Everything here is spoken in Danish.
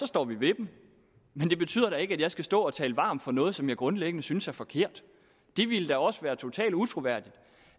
står vi ved dem men det betyder da ikke at jeg skal stå og tale varmt for noget som jeg grundlæggende synes er forkert det ville da også være totalt utroværdigt